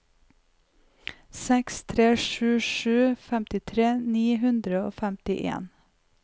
seks tre sju sju femtitre ni hundre og femtien